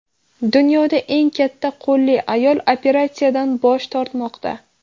Dunyoda eng katta qo‘lli ayol operatsiyadan bosh tortmoqda.